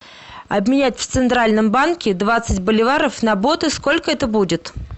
обменять в центральном банке двадцать боливаров на боты сколько это будет